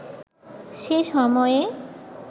সে সময়ে